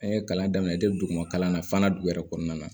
An ye kalan daminɛ depi dugu kalan na fana dugu yɛrɛ kɔnɔna na